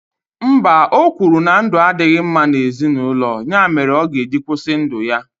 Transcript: Mba, o kwuru na ndụ adịghị mma na ezinụlọ, ya mere ọ ga-eji kwụsị ndụ ya.